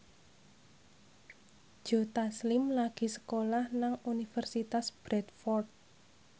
Joe Taslim lagi sekolah nang Universitas Bradford